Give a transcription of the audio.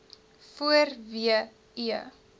voor w e